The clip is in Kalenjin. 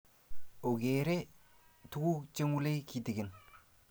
ogeere tuguk cheng'ulei kitikin